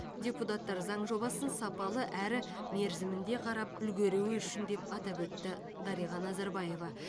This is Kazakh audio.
депутаттар заң жобасын сапалы әрі мерзімінде қарап үлгеруі үшін деп атап өтті дарига назарбаева